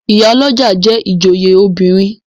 Ìyálọ́jà jẹ́ ìjòyè obìnrin.